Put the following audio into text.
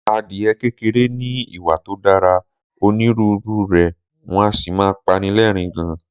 Adìe kékeré ní ìwà tó dára, onínúrere, wọn a sì máa pani lẹ́ẹ̀rín gan